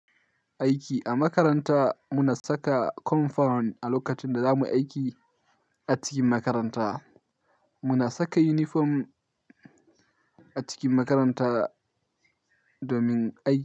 Aiki a makaranta, muna saka compound a lokacin da zamu yi aiki a cikin makaranta. Muna saka uniform a cikin makaranta domin aiki.